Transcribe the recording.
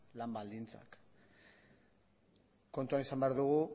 lan baldintzak kontuan izan behar dugu